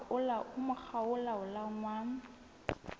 ho mokga o laolang wa